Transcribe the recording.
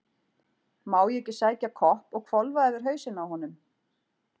Má ég ekki sækja kopp og hvolfa yfir hausinn á honum?